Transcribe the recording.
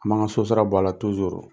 An b'an ŋa sosara bɔ a la .